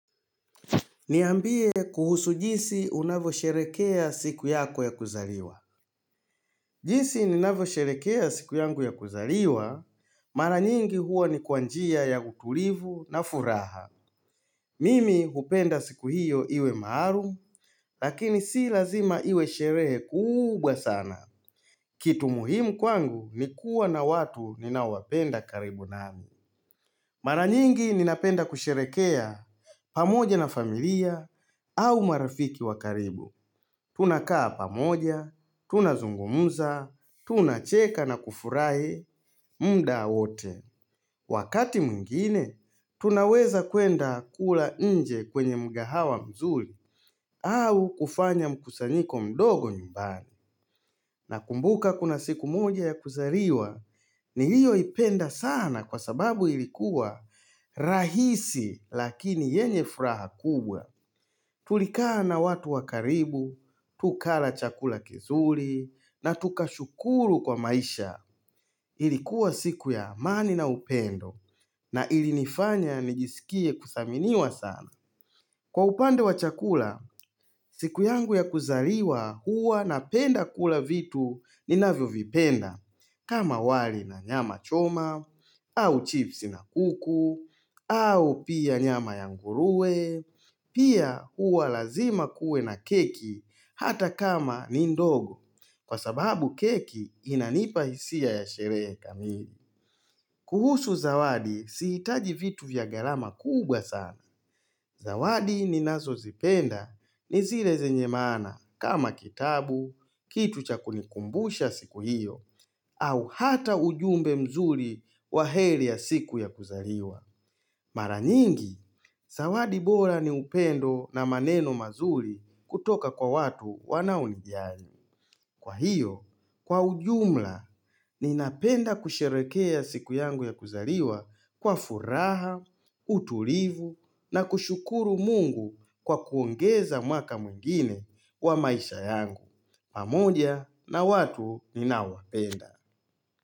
Niambie kuhusu jinsi unavyosherehekea siku yako ya kuzaliwa jinsi ninavyosherehekea siku yangu ya kuzaliwa, mara nyingi huwa ni kwa njia ya utulivu na furaha. Mimi hupenda siku hiyo iwe maarufu lakini si lazima iwe sherehe kuubwa sana. Kitu muhimu kwangu ni kuwa na watu ninaowapenda karibu nami. Mara nyingi ninapenda kusherehekea pamoje na familia au marafiki wa karibu. Tunakaa pamoja, tunazungumza, tunacheka na kufurahi, muda wote. Wakati mwingine, tunaweza kwenda kula nje kwenye mgahawa mzuri au kufanya mkusanyiko mdogo nyumbani. Nakumbuka kuna siku moja ya kuzariwa niliyoipenda sana kwa sababu ilikuwa rahisi lakini yenye furaha kubwa. Turikaa na watu wakaribu, tukara chakula kizuri na tukashukuru kwa maisha. Irikuwa siku ya amani na upendo na ilinifanya nijisikie kudhaminiwa sana. Kwa upande wa chakula, siku yangu ya kuzaliwa huwa napenda kula vitu ninavyovipenda kama wali na nyama choma, au chipsi na kuku, au pia nyama yanguruwe, pia huwa lazima kuwe na keki hata kama ni ndogo kwa sababu keki inanipa hisia ya sherehe kamili. Kuhusu zawadi sihitaji vitu ya gharama kuubwa sana. Zawadi ninazozipenda ni zire zenye maana kama kitabu, kitu cha kunikumbusha siku hiyo, au hata ujumbe mzuri wa heri ya siku ya kuzaliwa. Mara nyingi, zawadi bora ni upendo na maneno mazuri kutoka kwa watu wanaonijali Kwa hiyo, kwa ujumla, ninapenda kusherehekea siku yangu ya kuzaliwa kwa furaha, utulivu na kushukuru mungu kwa kuongeza mwaka mwingine kwa maisha yangu. Pamoja na watu ninaowapenda.